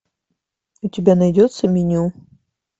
у тебя найдется меню